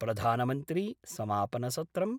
प्रधानमन्त्री समापनसत्रम्